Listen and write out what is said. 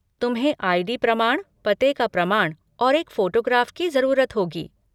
तुम्हें आई.डी. प्रमाण, पते का प्रमाण और एक फोटोग्राफ की जरूरत होगी।